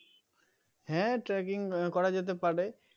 হ্যাঁ tracking করা যেতে পারে